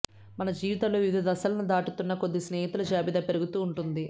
మన జీవితంలో వివిధ దశలను దాటుతున్న కొద్దీ స్నేహితులు జాబితా పెరుగుతూ ఉంటుంది